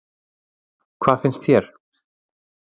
Hvað finnst þér?